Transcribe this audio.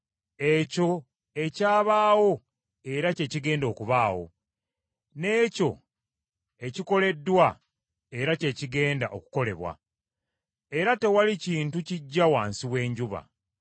Ekyo ekyabaawo era kye kigenda okubaawo, n’ekyo ekikoleddwa era kye kigenda okukolebwa; era tewali kintu kiggya wansi w’enjuba.